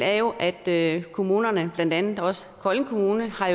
er jo at kommunerne blandt andet også kolding kommune har